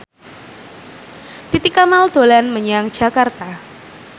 Titi Kamal dolan menyang Jakarta